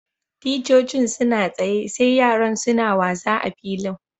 Ticcocin suna tsaya sai yaran suna wasa a'filin.